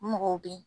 Mɔgɔw bɛ yen